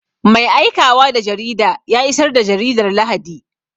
Mai aikawa da jarida ya isar da jaridar Lahadi.